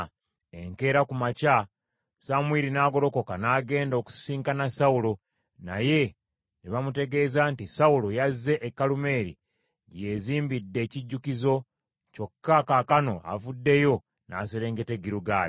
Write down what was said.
Enkeera ku makya Samwiri n’agolokoka n’agenda okusisinkana Sawulo, naye ne bamutegeeza nti, “Sawulo yazze e Kalumeeri gye yeezimbidde ekijjukizo, kyokka kaakano avuddeyo n’aserengeta e Girugaali.”